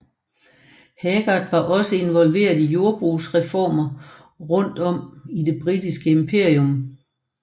Haggard var også involveret i jordbrugsreformer rundt om i det britiske imperium